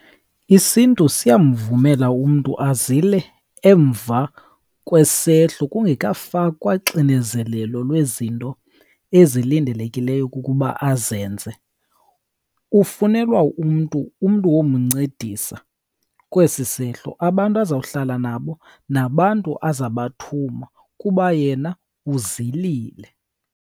IsiNtu siyamvumela umntu azile emva kwesehlo kungekafakwa xinezelelo lwezinto ezilindelekileyo ukuba azenze. Ufunelwa umntu, umntu womncedisa kwesi sehlo, abantu azohlala nabo nabantu azabathuma kuba yena uzilile.